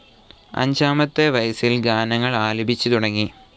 അഞ്ചാമത്തെ വയസിൽ ഗാനങ്ങൾ ആലപിച്ചുതുടങ്ങി.